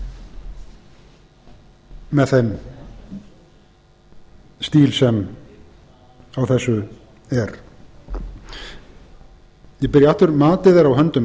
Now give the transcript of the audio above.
miðlunaraðferð með þeim stíl sem á þessu er ég byrja aftur matið er á höndum